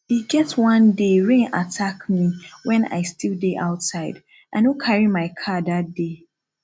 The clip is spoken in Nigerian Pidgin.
e get one day rain attack me wen i still dey outside i no carry my car dat day